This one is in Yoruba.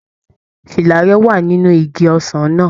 Fìlà rẹ wà nínú igi ọsàn náà.